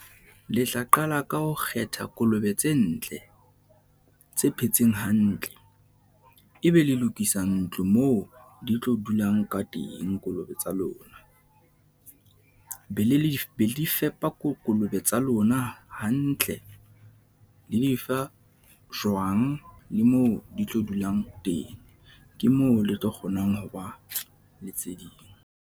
Le tla qala ka ho kgetha kolobe tse ntle, tse phetseng hantle, e be le lokisa ntlo moo di tlo dulang ka teng kolobe tsa lona, be le fepa, kolobe tsa lona hantle, le di fa jwang le moo di tlo dulang teng, ke moo le tlo kgonang ho ba le tse ding.